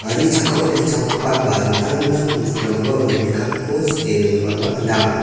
gari chakkao tekchapgipa ba dingtang dingtang bosturangkoba uano biapko sike dongipaba gnang.